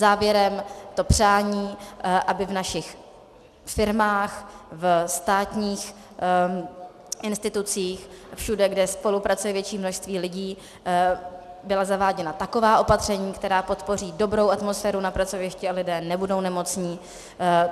Závěrem to přání, aby v našich firmách, ve státních institucích, všude, kde spolupracuje větší množství lidí, byla zaváděna taková opatření, která podpoří dobrou atmosféru na pracovišti a lidé nebudou nemocní.